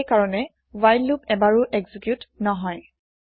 সেইকাৰণে while loop এবাৰো execute নহয়